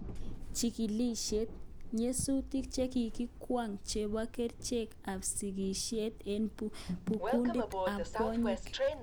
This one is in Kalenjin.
Chigilisyet: Nyasutik che ki kwong'e chebo kerichek ab sigisyet eng kundit ab kwonyik